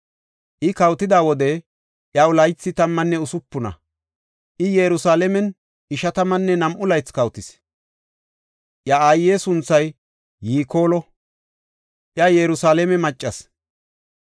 I kawotida wode, iyaw laythi tammanne usupuna; I Yerusalaamen ishatammanne nam7u laythi kawotis. Iya aaye sunthay Yikoolo; iya Yerusalaame maccas.